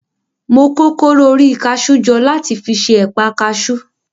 Mo kó kóró orí kaṣú jọ láti fi ṣe ẹ̀pa kaṣú.